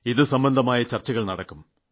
ഇത് സംബന്ധമായ ചർച്ചകൾ നടക്കും